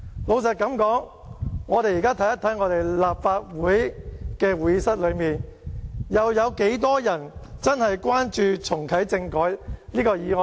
老實說，我們現在看一看在立法會會議廳裏，有多少人真正關注重啟政改這項議案呢？